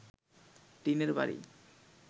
টিনের বাড়ি